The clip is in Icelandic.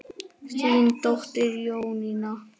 Þín dóttir Jónína.